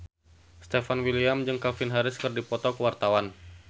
Stefan William jeung Calvin Harris keur dipoto ku wartawan